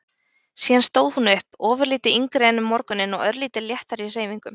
Síðan stóð hún upp, ofurlítið yngri en um morguninn og örlítið léttari í hreyfingum.